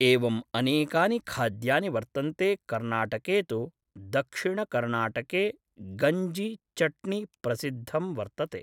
एवम् अनेकानि खाद्यानि वर्तन्ते कर्नाटके तु दक्षिणकर्नाटके गञ्जि चट्नि प्रसिद्धं वर्तते